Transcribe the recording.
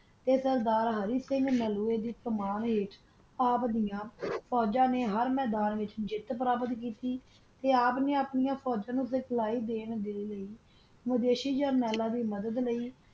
ਤਾ ਸਰਦਾਰ ਹਰਿ ਸਿੰਘ ਤਾ ਆਪ ਦਿਯਾ ਫੋਜਾ ਨਾ ਹਰ ਮਦਨ ਵਿਤਚ ਜਿਤ ਹਾਸਲ ਕੀਤੀ ਆਪ ਨਾ ਆਪਣੀ ਫੋਜਾ ਨੂ ਗਵਾਹੀ ਦਾਨ ਲੀ ਮਾਵਾਸ਼ੀ ਦੀ ਮਦਦ ਲੀ